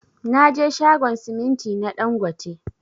Naje shagon siminti na ɗangote.